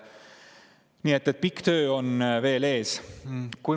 Nii et töö on veel ees.